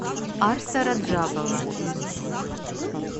арса раджабова